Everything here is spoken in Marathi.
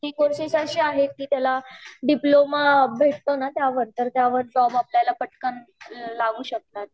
आणि ती कोर्सेस अशी आहेत की त्याला डिप्लोमा भेटत ना त्याला तर त्यावर जॉब आपल्याला पटकन लागू शकतो 0:03:02.338253 0:03:04.404362 गवर्नमेंट साठी पण ते ट्राय करू शकतात